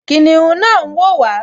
Kìnìún náà n wò wá